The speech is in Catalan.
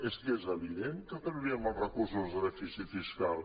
és que és evident que trauríem els recursos del dèficit fiscal